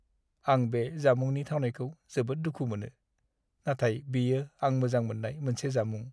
आं बे जामुंनि थावनायखौ जोबोद दुखु मोनो, नाथाय बेयो आं मोजां मोननाय मोनसे जामुं।